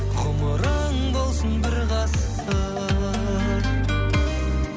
ғұмырың болсын бір ғасыр